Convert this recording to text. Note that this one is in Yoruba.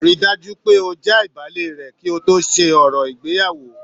Ri dájú pé oo j'abale rẹ kí to ṣe òrò ìgbéyàwó.